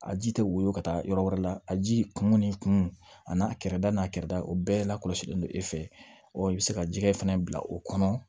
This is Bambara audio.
A ji tɛ woyo ka taa yɔrɔ wɛrɛ la a ji kun ni kun a n'a kɛrɛda n'a kɛrɛda o bɛɛ la kɔlɔsilen don e fɛ ɔ i bɛ se ka jɛgɛ fana bila o kɔnɔ